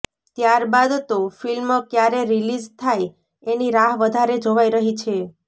ત્યારબાદ તો ફિલ્મ ક્યારે રિલીઝ થાય એની રાહ વધારે જોવાઇ રહી છે